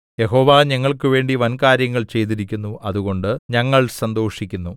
യഹോവ ഞങ്ങൾക്കുവേണ്ടി വൻകാര്യങ്ങൾ ചെയ്തിരിക്കുന്നു അതുകൊണ്ട് ഞങ്ങൾ സന്തോഷിക്കുന്നു